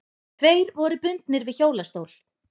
Tveir voru bundnir við hjólastól.